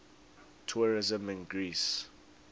tourism in greece